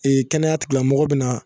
Ee kɛnɛya tigilamɔgɔw bɛ na